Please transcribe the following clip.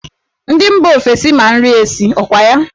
Ndị mba ofesi ma nri esi, ọ kwa ya?